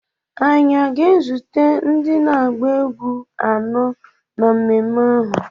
anyị aga-ezite ndị na-agba egwu anọ na mmemme ahụ?